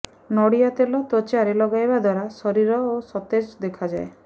ନଡ଼ିଆ ତେଲ ତ୍ୱଚାରେ ଲଗାଇବା ଦ୍ୱାରା ଶରୀର ଓ ସତେଜ ଦେଖାଯାଏ